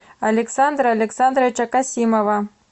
александра александровича касимова